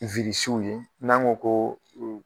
w ye n'an ko koo